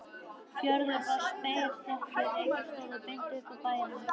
Fjörðurinn var spegilsléttur, reykir stóðu beint upp af bæjum.